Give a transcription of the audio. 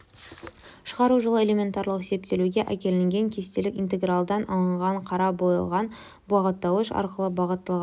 шығару жолы элементарлық есептелуге әкелінген кестелік интегралдан алынған қараға боялған бағыттауыш арқылы бағытталган